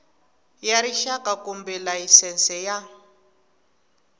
ya rixaka kumbe layisense ya